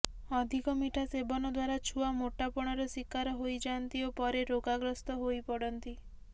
ଅଧିକ ମିଠା ସେବନ ଦ୍ୱାରା ଛୁଆ ମୋଟାପଣର ଶିକାର ହୋଇଯାନ୍ତି ଓ ପରେ ରୋଗାଗ୍ରସ୍ତ ହୋଇପଡ଼ନ୍ତି